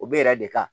O bɛ yɛrɛ de kan